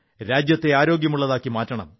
രാജ്യത്തെ ആരോഗ്യമുള്ളതാക്കണം